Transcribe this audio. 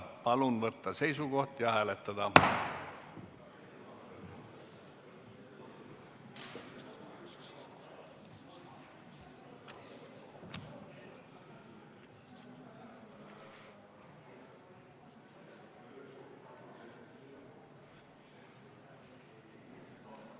Palun võtta seisukoht ja hääletada!